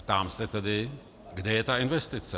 Ptám se tedy, kde je ta investice?